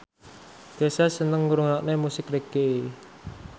Kesha seneng ngrungokne musik reggae